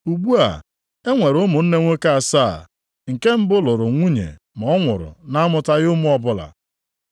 Ugbu a, e nwere ụmụnne nwoke asaa, nke mbụ lụrụ nwunye ma ọ nwụrụ na-amụtaghị ụmụ ọbụla.